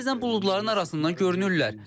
Bəzən buludların arasından görünürlər.